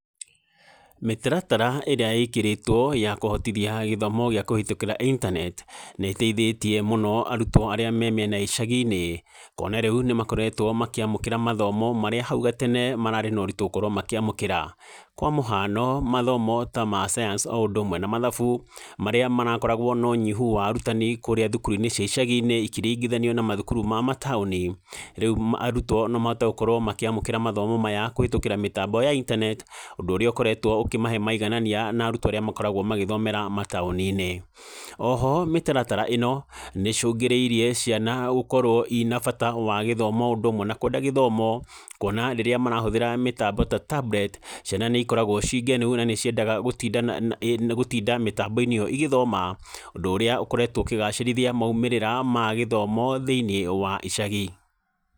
Mĩtaratara ĩrĩ ĩkĩrĩtwo ya kũhotithia githomo gĩa kũhĩtũkĩra intaneti, nĩ ĩteithĩtie mũno arutwo arĩa me mĩena ya icagi-inĩ, kuona rĩu nĩ makoretwo makĩamkĩra mathomo marĩa hau gatere mararĩ na ũritũ wa gukorwo makĩamũkĩra, kwa mũhano, mathomo ta ma science o ũndũ ũmwe na mathabu, marĩa marakoragwo nonyihu wa arutani kũrĩa thukuru-inĩ cia icagi-inĩ, ikĩringithanio na mathukuru ma mataũni, rĩu arutwo no mahote gũkorwo makĩmamkĩra mathomo maya kũhetũkĩra mĩtambo ya intaneti, ũndũ ũrĩa ũkoretwo ũkĩmahe maiganania na rutwo arĩa makoragwo mataoni-inĩ, oho mĩtaratara ĩno nĩcũngĩrĩirie ciana gũkorwo ina bata wa gĩthomo o ũndũ ũmwe na kwenda gĩthomo, kuona rĩrĩa marahũthĩra mĩtambo ta tablet, ciana nĩ ikoragwo cingenu, na nĩ ciendaga gũtinda na na ĩ gũtinda mĩtambo-inĩ ĩyo igĩthoma, ũndũ ũrĩa ũkoretwo ũkĩgacĩrithia maimĩrĩra magĩthomo thĩinĩ wa icagi.